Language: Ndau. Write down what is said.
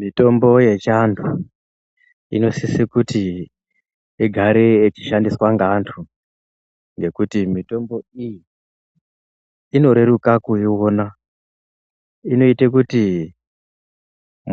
Mitombo yechiandu inosise kuti igare yechishandiswa ngaantu ngekuti mitombo iyi inoreruka kuiona inoite kuti